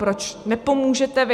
Proč nepomůžete vy?